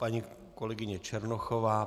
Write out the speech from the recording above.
Paní kolegyně Černochová.